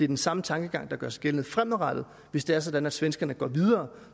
den samme tankegang der gør sig gældende fremadrettet hvis det er sådan at svenskerne går videre